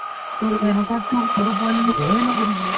to এনেকুৱাতোক সৰু পোৱালিতো ভয়ে নকৰিব